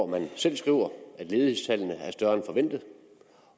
man selv skriver at ledighedstallene er større end forventet